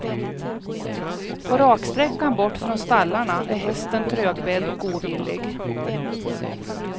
På raksträckan bort från stallarna är hästen trögbedd och ovillig.